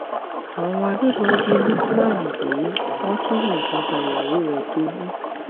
àwọn agbébọn jí lukman gbé wọn tún yìnbọn pa ìyàwó rẹ toyún